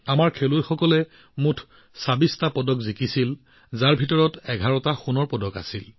আমাৰ খেলুৱৈসকলে মুঠ ২৬টা পদক লাভ কৰিছিল ইয়াৰে ১১টা সোণৰ পদক আছিল